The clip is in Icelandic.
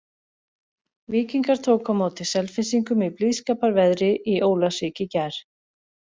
Víkingar tóku á móti Selfyssingum í blíðskapar veðri í Ólafsvík í gær.